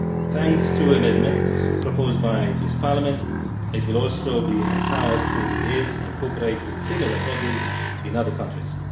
Thanks to amendments proposed by the Parliament, it will also be empowered to liaise and cooperate with similar bodies in other countries.